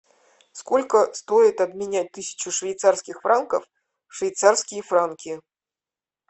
сколько стоит обменять тысячу швейцарских франков в швейцарские франки